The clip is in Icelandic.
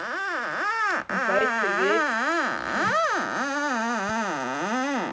Hún bætir svo við: og þá verð ég búin að taka flugpróf.